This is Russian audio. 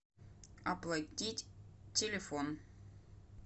оплатить телефон